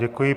Děkuji.